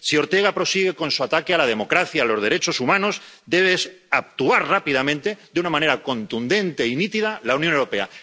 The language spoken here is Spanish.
Si Ortega prosigue con su ataque a la democracia y a los derechos humanos, debe actuar rápidamente, de una manera contundente y nítida, la Unión Europea.